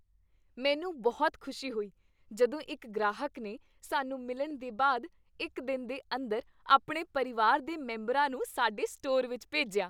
ਮੈਨੂੰ ਬਹੁਤ ਖੁਸ਼ੀ ਹੋਈ ਜਦੋਂ ਇੱਕ ਗ੍ਰਾਹਕ ਨੇ ਸਾਨੂੰ ਮਿਲਣ ਦੇ ਬਾਅਦ ਇੱਕ ਦਿਨ ਦੇ ਅੰਦਰ ਆਪਣੇ ਪਰਿਵਾਰ ਦੇ ਮੈਂਬਰਾਂ ਨੂੰ ਸਾਡੇ ਸਟੋਰ ਵਿੱਚ ਭੇਜਿਆ।